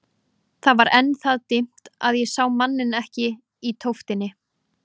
Það var enn það dimmt að ég sá manninn ekki í tóftinni.